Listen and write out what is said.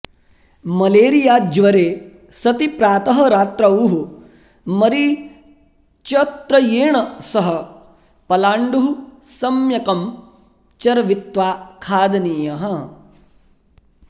मलेरियाज्वरे सति प्रातः रात्रौः मरीचत्रयेण सह पलाण्डुः सम्यकं चर्वित्वा खादनीयः